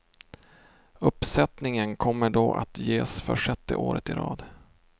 Uppsättningen kommer då att ges för sjätte året i rad.